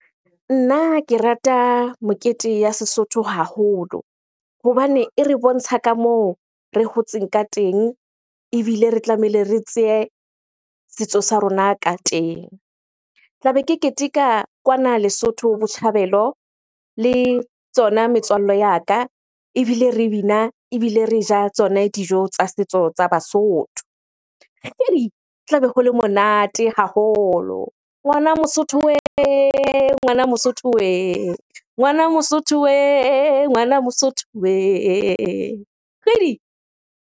Nna ke rata mokete ya Sesotho haholo hobane e re bontsha ka moo re hotseng ka teng, ebile re tlamehile re tseye setso sa rona ka teng. Ke tlabe ke keteka kwana Lesotho, Botjhabelo le tsona metswalle ya ka ebile re bina, ebile re ja tsone dijo tsa setso tsa Basotho. Tlabe ho le monate haholo. Ngwana mosotho weh! Ngwana mosotho weh! Ngwana mosotho weh! Ngwana mosotho weh! Kgidi!